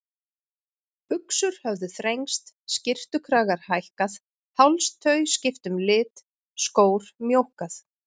Buxur höfðu þrengst, skyrtukragar hækkað, hálstau skipt um lit, skór mjókkað.